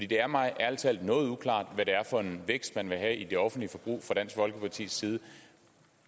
det er mig ærlig talt noget uklart hvad det er for en vækst man vil have i det offentlige forbrug fra dansk folkepartis side